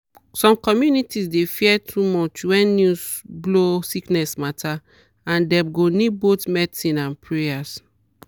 some community dey fear too much when news blow sickness matter and dem go need both medicine and prayer.